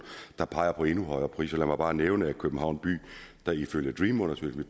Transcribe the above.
der peger på endnu højere priser lad mig bare nævne at københavn by ifølge dream undersøgelsen